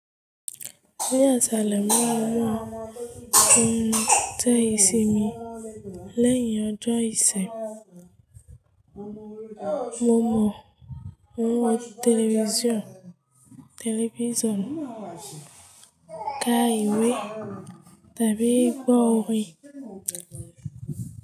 Ní yàlá ìṣẹ̀lẹ̀ mímọ́, ó ń tẹ ìsinmi lẹ́yìn ọjọ́ ìṣin mọ́ mọ̀ ó ń wo tẹlifíṣàn ká ìwé tàbí gbọ́ orin.